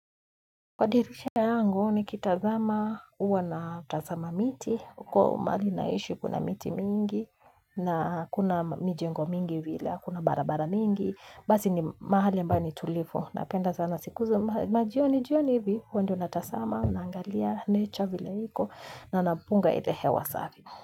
Kwa dirisha yangu nikitazama, huwa natazama miti, huko mahali naishi kuna miti mingi, na kuna mijengo mingi vile, kuna barabara mingi, basi ni mahali ambapo ni tulivu, napenda sana siku za majioni jioni hivi, huwa ndio natazama, naangalia, nature vile iko, na napunga ile hewa safi.